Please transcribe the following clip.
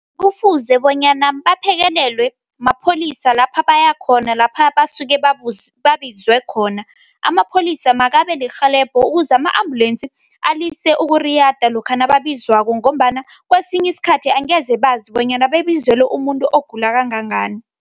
Kufuze bonyana baphekelelwe mapholisa lapha bayakhona, lapha basuke babizwe khona. Amapholisa makabe lirhelebho ukuze ama-ambulensi alise ukuriyada lokha nababizwako, ngombana kwesinye isikhathi angezebazi bonyana babizelwe umuntu ogula kangangani.